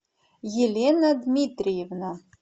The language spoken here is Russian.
елена дмитриевна